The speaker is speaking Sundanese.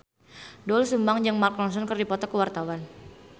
Doel Sumbang jeung Mark Ronson keur dipoto ku wartawan